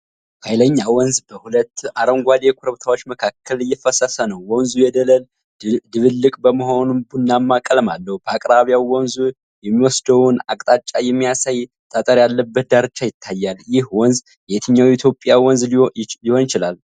ኃይለኛ ወንዝ በሁለት አረንጓዴ ኮረብታዎች መካከል እየፈሰሰ ነው። ወንዙ የደለል ድብልቅ በመሆኑ ቡናማ ቀለም አለው። በአቅራቢያው ወንዙ የሚወስደውን አቅጣጫ የሚያሳይ ጠጠር ያለበት ዳርቻ ይታያል። ይህ ወንዝ የትኛው የኢትዮጵያ ወንዝ ሊሆን ይችላል?